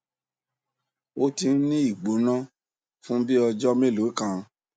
ó ti ń ní ìgbóná fún bí i ọjọ mélòó kan